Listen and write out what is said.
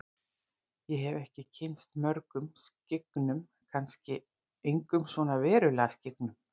Ég hef ekki kynnst mörgum skyggnum, kannski engum svona verulega skyggnum.